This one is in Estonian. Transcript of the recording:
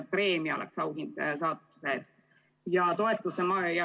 Preemia oleks auhind saavutuse eest.